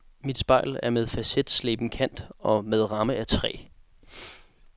Mit spejl er med facetsleben kant og med ramme af træ.